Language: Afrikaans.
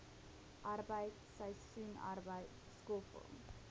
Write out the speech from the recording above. arbeid seisoensarbeid skoffel